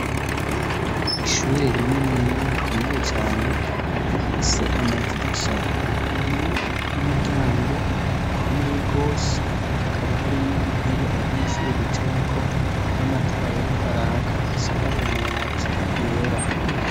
Ishuri rinini rikomeye cane rifise amadirisha yuguruye n'umuryango ukomeye gose hakaba harimwo intebe abanyeshuri bicarako n'amatara ariko araka risakaje amabati yera.